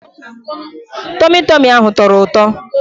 Tọmị Tọmị ahụ tọrọ ụtọ.